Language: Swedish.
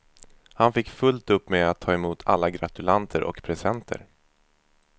Han fick fullt upp med att ta emot alla gratulanter och presenter.